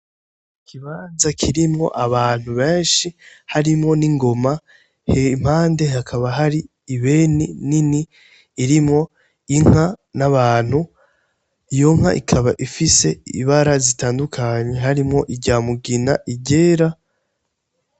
Ikibaza kirimwo abantu benshi harimwo n'ingoma hempande hakaba hari ibeni nini irimwo inka n'abantu iyo nka ikaba ifise ibara zitandukanyi harimwo iryamugina iryera.